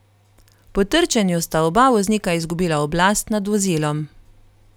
Po trčenju sta oba voznika izgubila oblast nad vozilom.